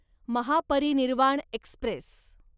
Mahaparinirvan Express